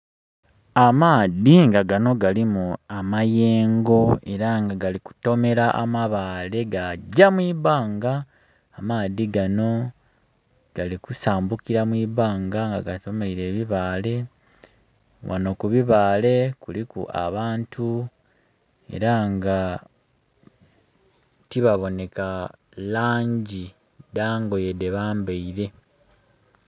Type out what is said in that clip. Amaadhi nga gano galimu amayengo era nga gali kutomera amabaale gagya mu ibanga, amaadhi gano gali kusambukira mu ibanga nga gatomeire ebibaale, ghano ku bibaale kuliku abantu era nga tibaboneka langi dha ngoye dhe bambeire.